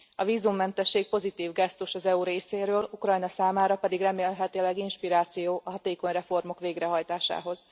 A vízummentesség pozitív gesztus az EU részéről, Ukrajna számára pedig remélhetőleg inspiráció a hatékony reformok végrehajtásához.